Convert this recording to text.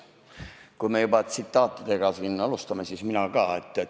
Kui me juba tsitaatidega siin alustasime, siis mina ütlen ka ühe.